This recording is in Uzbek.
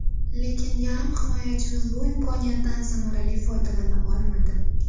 Lekin yarim himoyachimiz bu imkoniyatdan samarali foydalana olmadi.